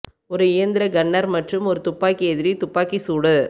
ஒரு இயந்திர கன்னர் மற்றும் ஒரு துப்பாக்கி எதிரி துப்பாக்கி சூடு